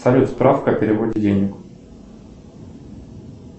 салют справка о переводе денег